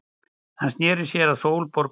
Hann sneri sér að Sólborgu.